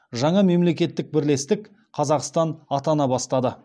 жаңа мемлекеттік бірлестік қазақстан атана бастады